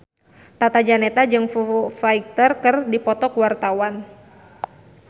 Tata Janeta jeung Foo Fighter keur dipoto ku wartawan